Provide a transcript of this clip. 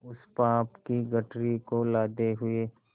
उस पाप की गठरी को लादे हुए